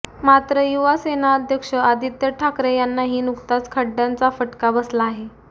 मात्र युवासेना अध्यक्ष आदित्य ठाकरे यांनाही नुकताच खड्ड्यांचा फटका बसला आहे